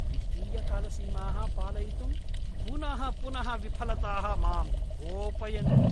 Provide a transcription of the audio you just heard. वित्तीयकालसीमाः पालयितुं पुनः पुनः विफलताः मां कोपयन्ति।